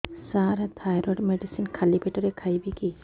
ସାର thyroid medicine ଖାଲି ପେଟରେ ଖାଇବି କି